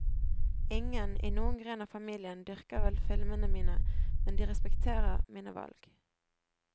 Ingen, i noen gren av familien, dyrker vel filmene mine, men de respekterer mine valg.